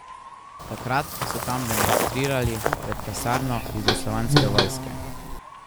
Takrat so tam demonstrirali pred kasarno jugoslovanske vojske.